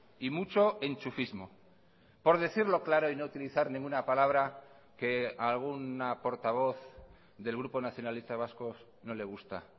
y mucho enchufismo por decirlo claro y no utilizar ninguna palabra que a alguna portavoz del grupo nacionalista vasco no le gusta